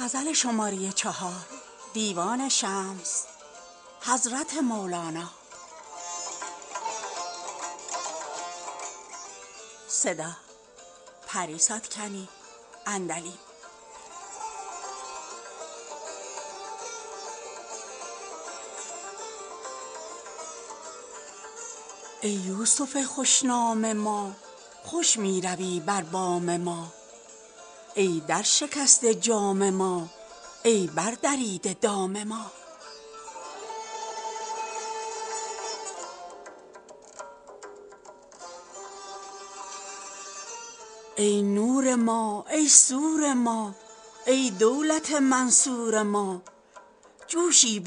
ای یوسف خوش نام ما خوش می روی بر بام ما ای درشکسته جام ما ای بردریده دام ما ای نور ما ای سور ما ای دولت منصور ما جوشی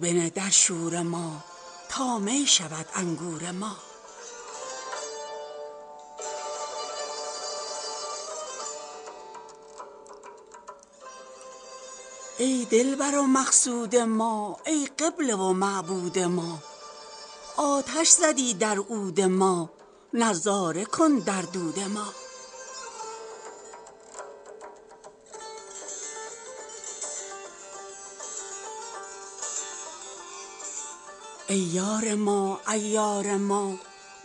بنه در شور ما تا می شود انگور ما ای دلبر و مقصود ما ای قبله و معبود ما آتش زدی در عود ما نظاره کن در دود ما ای یار ما عیار ما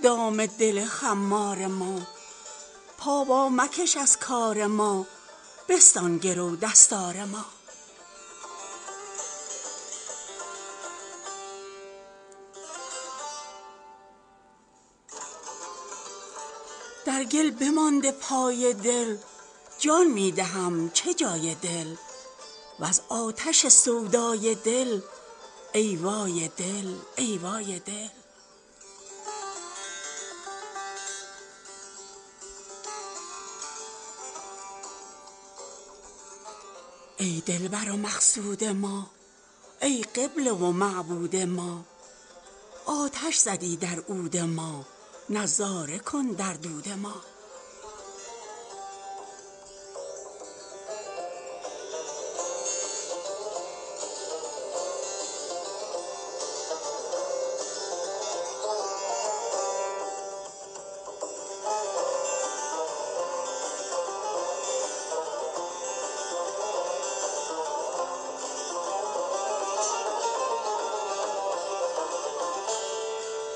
دام دل خمار ما پا وامکش از کار ما بستان گرو دستار ما در گل بمانده پای دل جان می دهم چه جای دل وز آتش سودای دل ای وای دل ای وای ما